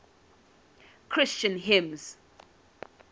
christian hymns